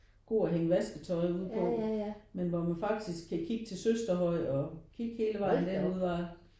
God at hænge vasketøj ud på men hvor man faktisk kan kigge til Søsterhøj og kigge hele vejen derudaf